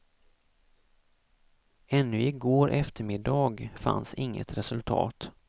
Ännu igår eftermiddag fanns inget resultat.